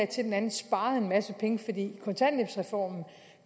til den anden sparede en masse penge kontanthjælpsreformen